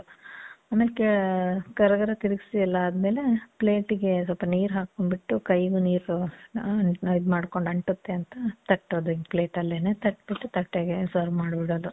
ಆಮೇಲ್, ಕೇ, ಗರ ಗರ ತಿರಿಗ್ಸಿ ಎಲ್ಲ ಆದ್ಮೇಲೆ, plate ಗೆ ಸ್ವಲ್ಪ ನೀರ್ ಹಾಕ್ಕೊಂಡ್ ಬಿಟ್ಟು, ಕೈಗೂ ನೀರ್ ಇದ್ ಮಾಡ್ಕೊಂಡ್ ಅಂಟತ್ತೆ ಅಂತ ತಟ್ಟೋದು, ಹಿಂಗ್ plate ಅಲ್ಲೇನೆ. ತಟ್ಬಿಟ್ಟು ತಟ್ಟೆಗೆ serve ಮಾದ್ಬಿಡೋದು.